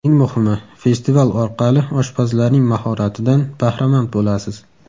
Eng muhimi, festival orqali oshpazlarning mahoratidan bahramand bo‘lasiz.